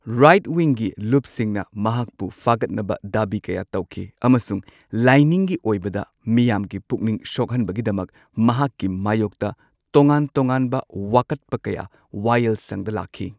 Right ꯋꯤꯡꯒꯤ ꯂꯨꯞꯁꯤꯡꯅ ꯃꯍꯥꯛꯄꯨ ꯐꯥꯒꯠꯅꯕ ꯗꯥꯕꯤ ꯀꯌꯥ ꯇꯧꯈꯤ꯫ ꯑꯃꯁꯨꯡ ꯂꯥꯏꯅꯤꯡꯒꯤ ꯑꯣꯏꯕꯗ ꯃꯤꯌꯥꯝꯒꯤ ꯄꯨꯛꯅꯤꯡ ꯁꯣꯛꯍꯟꯕꯒꯤꯗꯃꯛ ꯃꯍꯥꯛꯀꯤ ꯃꯥꯌꯣꯛꯇ ꯇꯣꯉꯥꯟ ꯇꯣꯉꯥꯟꯕ ꯋꯥꯀꯠꯄ ꯀꯌꯥ ꯋꯥꯌꯦꯜꯁꯪꯗ ꯂꯥꯛꯈꯤ꯫